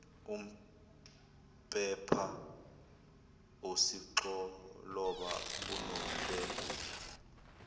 umpepha usixoloba unombengula